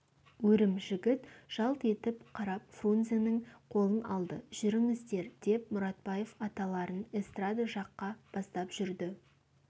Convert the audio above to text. өрім жігіт жалт етіп қарап фрунзенің қолын алды жүріңіздер деп мұратбаев аталарын эстрада жаққа бастап жүрді